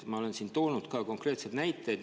Ma olen siin toonud ka konkreetseid näiteid.